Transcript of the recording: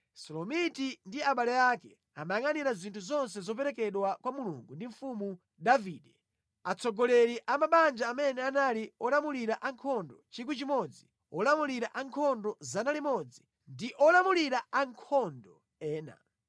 Selomiti ndi abale ake amayangʼanira zinthu zonse zoperekedwa kwa Mulungu ndi mfumu Davide, atsogoleri a mabanja amene anali olamulira ankhondo 1,000, olamulira ankhondo 100, ndi olamulira ankhondo ena.